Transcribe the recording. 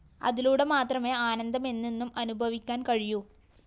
അതിലൂടെ മാത്രമേ ആനന്ദമെന്നെന്നും അനുഭവിക്കാന്‍ കഴിയൂ